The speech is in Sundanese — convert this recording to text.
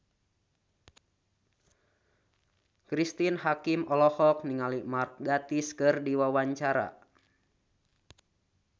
Cristine Hakim olohok ningali Mark Gatiss keur diwawancara